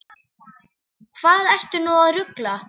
Hvað ertu nú að rugla!